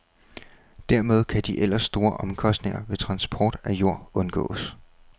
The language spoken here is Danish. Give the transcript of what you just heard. Dermed kan de ellers store omkostninger ved transport af jord undgås.